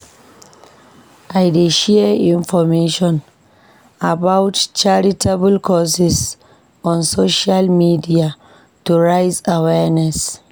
I dey share information about charitable causes on social media to raise awareness.